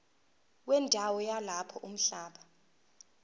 wendawo yalapho umhlaba